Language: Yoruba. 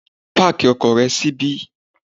Páàkì ọkọ̀ rẹ síbí.